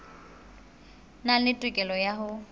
nang le tokelo ya ho